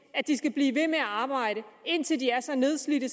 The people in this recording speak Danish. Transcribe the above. at de skal blive ved med at arbejde indtil de er så nedslidte